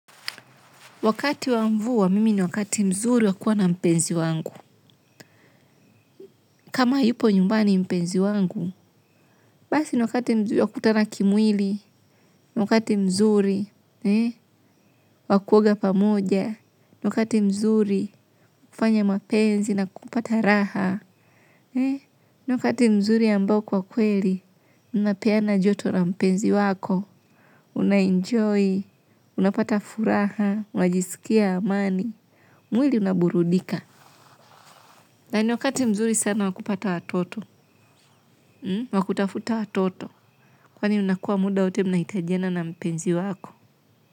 Wakati wa mvua mimi ni wakati mzuri wa kuwa na mpenzi wangu. Kama hayupo nyumbani mpenzi wangu. Basi ni wakati mzuri wakutana kimwili. Ni wakati mzuri wakuoga pamoja. Ni wakati mzuri fanya mapenzi na kupata raha. Ni wakati mzuri ambao kwa kweli. Unapeana joto na mpenzi wako. Unaenjoy. Unapata furaha. Unajiskia amani mwili unaburudika. Nani wakati mzuri sana wakupata watoto, wakutafuta watoto, kwani unakua muda uti mnaitajena na mpenzi wako.